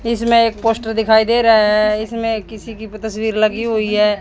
इसमें एक पोस्टर दिखाई दे रहा है इसमें किसी की तस्वीर लगी हुई है।